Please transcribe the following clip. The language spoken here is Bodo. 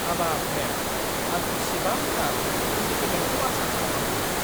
हाबाब, मेम! आं एसेबां थाब इनक्रिमेन्टखौ आसा खालामाखैमोन!